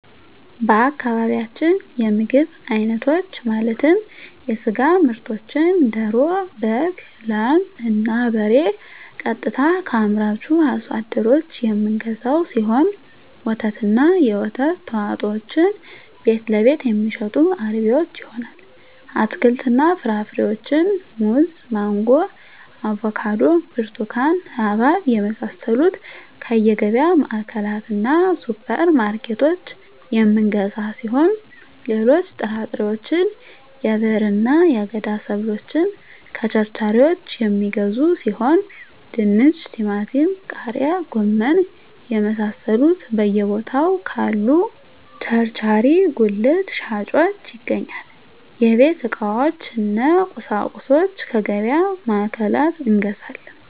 በአካባቢያችን የምግብ አይነቶች ማለትም የስጋ ምርቶችን ደሮ በግ ላም እና በሬ ቀጥታ ከአምራቹ አርሶ አደሮች የምንገዛው ሲሆን ወተትና የወተት ተዋፅኦዎችን ቤትለቤት የሚሸጡ አርቢዎች ይሆናል አትክልትና ፍራፍሬዎችን ሙዝ ማንጎ አቮካዶ ብርቱካን ሀባብ የመሳሰሉትከየገቢያ ማዕከላትእና ሱፐር ማርኬቶች የምንገዛ ሲሆን ሌሎች ጥራጥሬዎች የብዕርና የአገዳ ሰብሎችን ከቸርቻሪዎች የሚገዙ ሲሆን ድንች ቲማቲም ቃሪያ ጎመን የመሳሰሉት በየ ቦታው ካሉ ቸርቻሪ ጉልት ሻጮች ይገኛል የቤት ዕቃዎች እነ ቁሳቁሶች ከገቢያ ማዕከላት እንገዛለን